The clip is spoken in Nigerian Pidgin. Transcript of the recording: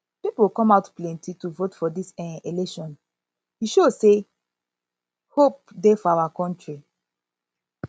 people come out plenty to vote for dis um election e show say hope dey for our country